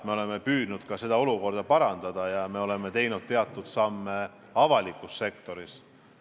Me oleme püüdnud olukorda parandada ja me oleme astunud teatud samme avalikus sektoris.